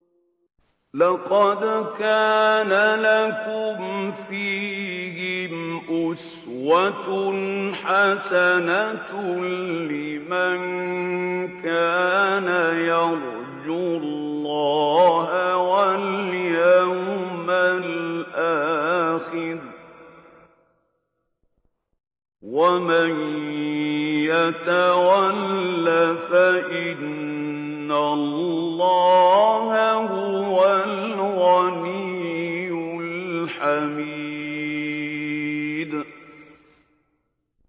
لَقَدْ كَانَ لَكُمْ فِيهِمْ أُسْوَةٌ حَسَنَةٌ لِّمَن كَانَ يَرْجُو اللَّهَ وَالْيَوْمَ الْآخِرَ ۚ وَمَن يَتَوَلَّ فَإِنَّ اللَّهَ هُوَ الْغَنِيُّ الْحَمِيدُ